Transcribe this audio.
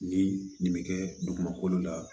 Ni nin bɛ kɛ dugumakolo la